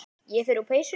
Ég fer úr peysunni.